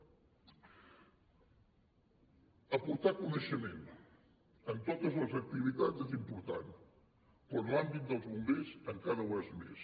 aportar coneixement en totes les activitats és important però en l’àmbit dels bombers encara ho és més